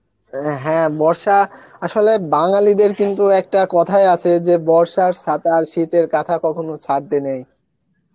অ্যাঁ হ্যাঁ বর্ষা আসলে বাঙ্গালীদের কিন্তু একটা কথাই আছে যে বর্ষার ছাতা এবং শীতের কাঁথা কখনো ছাড়তে নেই